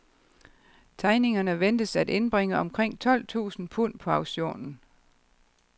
Tegningerne ventes at indbringe omkring tolv tusind pund på auktionen.